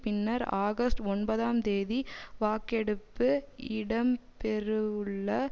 பின்னர் ஆகஸ்ட் ஒன்பதாம் தேதி வாக்கெடுப்பு இடம்பெறுவுள்ள